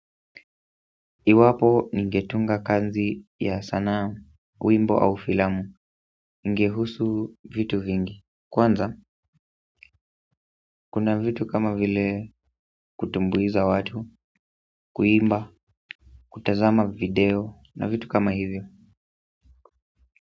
Iwapo ningetunga kazi ya sanaa, wimbo au filamu ingehusu vitu vingi. Kwanza, kuna vitu kama vile kutumbuiza watu kuimba, kutazama video na vitu kama hivyo.